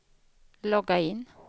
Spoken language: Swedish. logga in